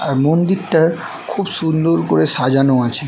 আর মন্দিরটা খুব সুন্দর করে সাজানো আছে।